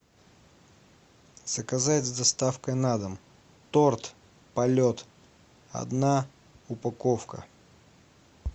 заказать с доставкой на дом торт полет одна упаковка